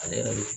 Ale yɛrɛ bi